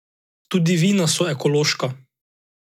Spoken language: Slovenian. Tudi vina so ekološka.